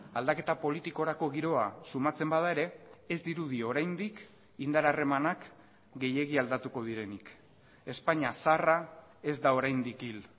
aldaketa politikorako giroa sumatzen bada ere ez dirudi oraindik indar harremanak gehiegi aldatuko direnik espainia zaharra ez da oraindik hil